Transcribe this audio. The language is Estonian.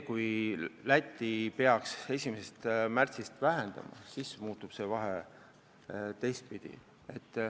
Kui Läti peaks aktsiisi vähendama, siis muutub see vahe teistpidi.